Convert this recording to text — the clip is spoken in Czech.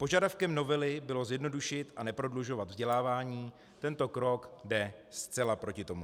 Požadavkem novely bylo zjednodušit a neprodlužovat vzdělávání, tento krok jde zcela proti tomu.